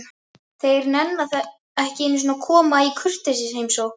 Þeir nenna ekki einu sinni að koma í kurteisisheimsókn.